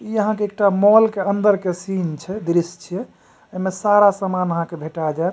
इ आहाँ के एकटा मॉल के अंदर के सीन छै दृश्य छै ए मे सारा सामान आहां के भेटा जात --